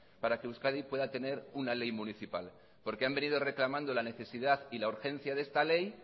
para que euskadi pueda tener una ley municipal porque han venido reclamando la necesidad y la urgencia de esta ley